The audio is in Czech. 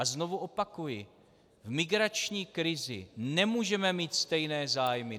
A znovu opakuji, v migrační krizi nemůžeme mít stejné zájmy.